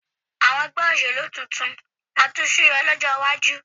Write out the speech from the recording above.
Àwọn ẹgbẹ́ òṣèlú tuntun máa tún súyọ lọ́jọ́ iwájú